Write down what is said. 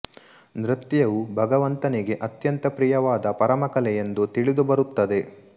ನೃತ್ಯವು ಭಗವಂತನಿಗೆ ಅತ್ಯಂತ ಪ್ರಿಯವಾದ ಪರಮ ಕಲೆ ಎಂದು ತಿಳಿದು ಬರುತ್ತದೆ